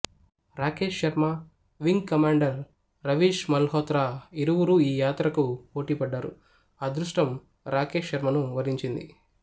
Rakesh Sharma wing commander Ravish Malhotra ఇరువురూ ఈ యాత్రకు పోటీపడ్డారు అదృష్టం రాకేష్ శర్మను వరించింది